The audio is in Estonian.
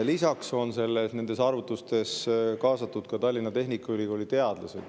Lisaks on nende arvutuste kaasatud ka Tallinna Tehnikaülikooli teadlased.